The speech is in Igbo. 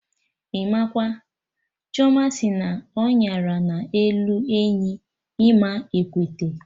Imakwa! Chioma sị na ọnyara na-elu enyi, ịma ekwete!